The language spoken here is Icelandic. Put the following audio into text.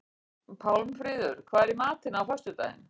Pálmfríður, hvað er í matinn á föstudaginn?